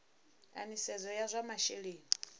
a nisedzo ya zwa masheleni